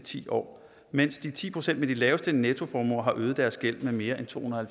ti år mens de ti procent med de laveste nettoformuer har øget deres gæld med mere end tohundrede og